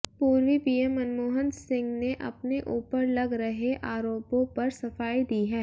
पूर्वी पीएम मनमोहन सिंह ने अपने ऊपर लग रहे आरोपों पर सफाई दी है